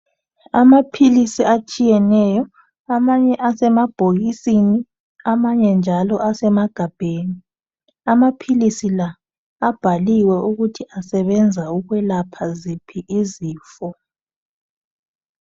Amaphilisi atshiyeneyo amanye asemabhokisini amanye njalo asemagabheni. Amaphilisi la abhaliwe ukuthi asebenza ukwelapha ziphi izifo.